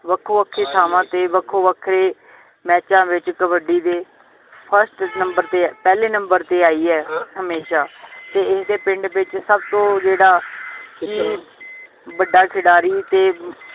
ਵੱਖੋਂ ਵੱਖੀ ਥਾਵਾਂ ਤੇ ਵੱਖੋ ਵਖੇ ਮੈਚਾਂ ਵਿਚ ਕਬੱਡੀ ਦੇ first ਨੰਬਰ ਤੇ ਪਹਿਲੇ ਨੰਬਰ ਤੇ ਆਈ ਹੈ ਹਮੇਸ਼ਾ ਤੇ ਇਸਦੇ ਪਿੰਡ ਵਿਚ ਸਬਤੋਂ ਜਿਹੜਾ ਕਿ ਵੱਡਾ ਖਿਡਾਰੀ ਤੇ